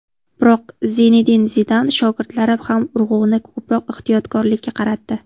Biroq Zinedin Zidan shogirdlari ham urg‘uni ko‘proq ehtiyotkorlikka qaratdi.